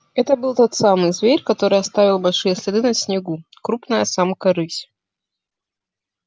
это был тот самый зверь который оставил большие следы на снегу крупная самка рысь